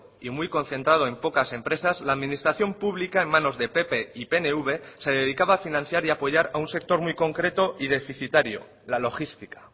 y muy concentrado en pocas empresas la administración pública en manos de pp y pnv se dedicaba a financiar y apoyar a un sector muy concreto y deficitario la logística